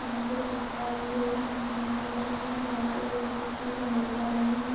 यहाँ पे टेक्ट्रा लोग यहां से निकल रहे है बाढ़ से बचने के लिए बाहर जा रहे है।